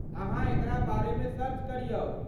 अहाँ एकरा बारेमे सर्च करियौ।